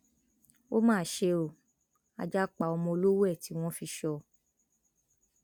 ó mà ṣe o ajá pa ọmọ olówó ẹ tí wọn fi sọ ọ